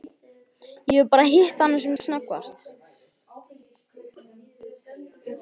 Ég hef bara hitt hana sem snöggvast.